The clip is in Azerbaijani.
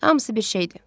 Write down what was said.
Hamısı bir şeydir.